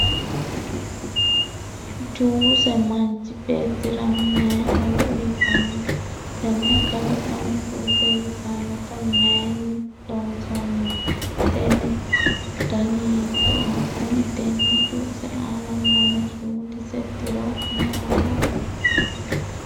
juuse manchi beettira mayi horo uyiitanno? tenne kalaqamu juuse yitannota mayiinni loonsanni? tenne juuse dani hiittooho? kuni tenne juuse aana noohu sumudise tiro mayyaate?